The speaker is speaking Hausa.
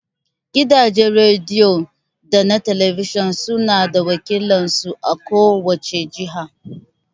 Gidajen rediyo da na talabijin suna da wakilan su a ko wace jiha.